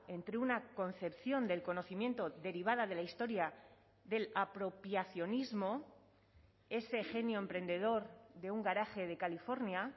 entre una concepción del conocimiento derivada de la historia del apropiacionismo ese genio emprendedor de un garaje de california